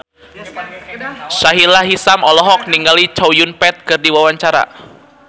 Sahila Hisyam olohok ningali Chow Yun Fat keur diwawancara